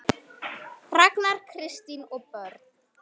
Ragnar, Kristín og börn.